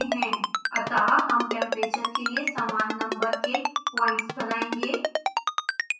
अतः हम temperature के लिए समान नंबर के प्वाइंट्स बनायेंगे